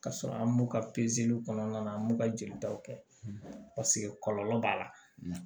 K'a sɔrɔ an m'u ka kɔnɔna an b'u ka jelitaw kɛ kɔlɔlɔ b'a la